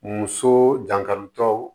Muso dankarikɛw